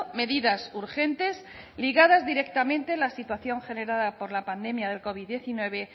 medidas urgentes ligadas directamente a la situación generada por la pandemia del covid diecinueve